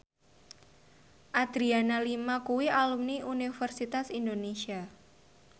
Adriana Lima kuwi alumni Universitas Indonesia